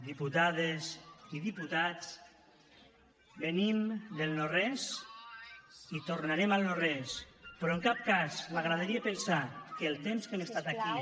diputades i diputats venim del no res i tornarem al no res però en cap cas m’agradaria pensar que el temps que hem estat aquí